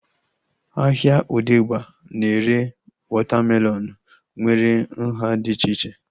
Ahịa odegba na-ere wọta melọnu nwere nhá dị iche iche